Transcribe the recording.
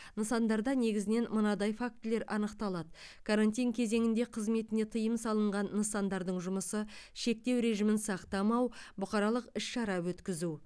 нысандарда негізінен мынадай фактілер анықталады карантин кезеңінде қызметіне тыйым салынған нысандардың жұмысы шектеу режимін сақтамау бұқаралық іс шара өткізу